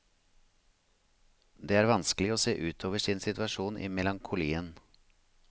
Det er vanskelig å se utover sin situasjon i melankolien.